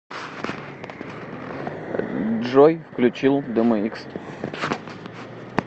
джой включи дэмэикс